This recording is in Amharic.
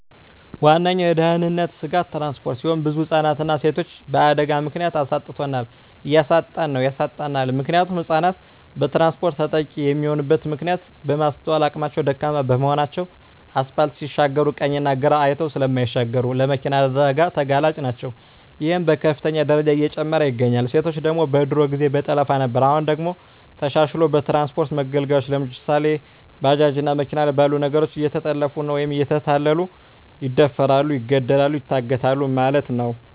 ዋነኛዉ የድህንነት ስጋት ትራንስፖርት ሲሆን ብዙ ህፃናትንና ሴቶችን በአደጋ ምክንያት አሳጥቶናል እያሳጣን ነዉ ያሳጣናልም። ምክንያቱም ህፃናት በትራንስፖርት ተጠቂ የሚሆኑበት ምክንያት የማስትዋል አቅማቸዉ ደካማ በመሆናቸዉ አስፓልት ሲሻገሩ ቀኝና ግራ አይተዉ ስለማይሻገሩ ለመኪና አደጋ ተጋላጭ ናቸዉ ይሄም በከፍተኛ ደረጃ እየጨመረ ይገኛል። ሴቶች ደግሞ በድሮ ጊዜ በጠለፋ ነበር አሁን ደግሞ ተሻሽልሎ በትራንስፖርት መገልገያወች ለምሳሌ፦ ባጃጅ እና መኪና ባሉ ነገሮች እየተጠለፊፉ ወይም እየተታለሉ ይደፈራሉ ይገደላሉ ይታገታሉ ማለት ነዉ።